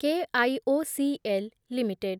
KIOCL limited